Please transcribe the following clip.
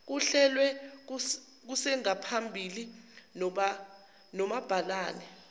kuhlelwe kusengaphambili nomabhalane